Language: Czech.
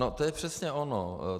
No to je přesně ono.